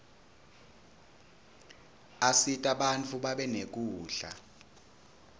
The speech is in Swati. asita bantfu babe nekudla